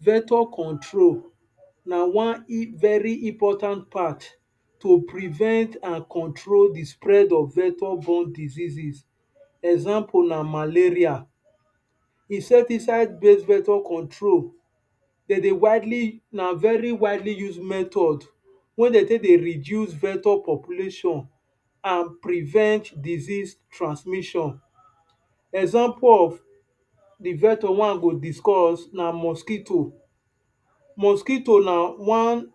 Vector control na one very important part to prevent and control de spread of vector diseases example na malaria. Insecticide-base vector control na very widely used method weh de take de reduce vector population and prevents disease transmission example of de vector one go discuss na mosquito Mosquito na one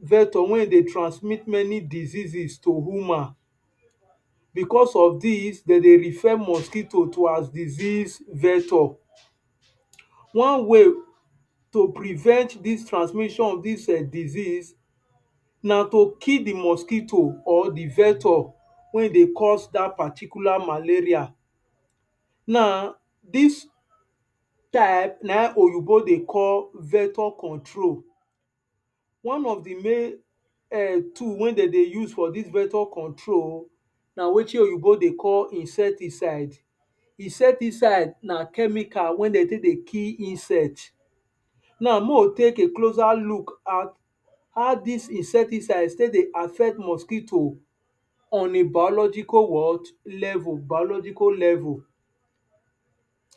vector weh de transmit many diseases to human Because of this, de de refer mosquito to as “disease vector” One way to prevent dis transmission of dis disease na to kill d mosquito or d vector weh de cause dat particular maleria Dis type na wetin oyibo de call “vector control” One of d main tool weh de de use for vector control na wetin oyibo de call “insecticide”. Insecticide na chemical weh de take de kill insects Mek we take closer look at how dis insecticide take de affect mosquito on a biological what level biological level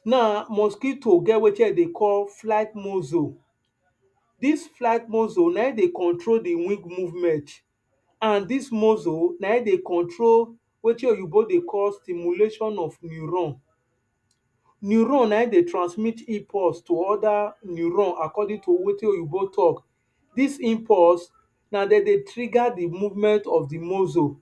Now mosquito get wetin de de call “flight muscles” This flight muscle de control de wing movements And dis muscle de control wetin oyibo de call “stimulation of neurons” Neurons na en de transmit impulse to oda neurons according to wetin oyibo talk. Dis impulse na dem de trigger d movement of d muscles.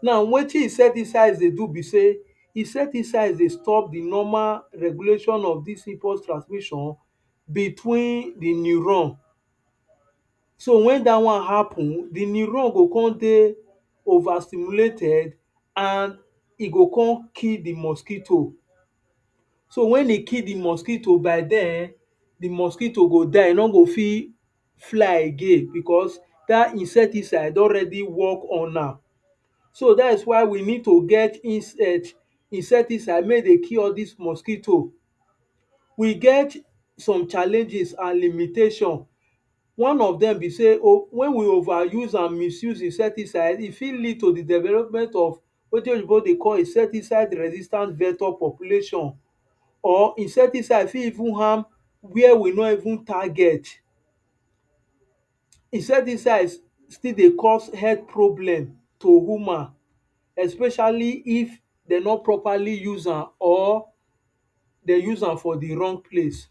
Now wetin Insecticides de do be say Insecticides de stop de normal regulation of dis impulse transmission between de neurons So wen dat wan appun, de neurons go come de over stimulated and e go come kill d mosquito So wen e kill d mosquito by den, d mosquito go die e no go fit fly again because dat insecticide don already work on am That’s we we need to get insecticide weh go kill all dis mosquito We get some challenges and limitations One of dem be say wen we overuse and misuse insecticide, e fit lead to de development of wetin oyibo de call “insecticide resistant vector population” or insecticide for even harm weh we no even target. E fit de cause head problem to human especially if de no properly use am or de use am for wrong place.